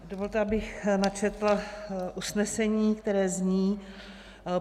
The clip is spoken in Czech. Dovolte, abych načetla usnesení, které zní: